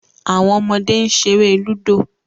Awọn ọmọde n ṣere ludo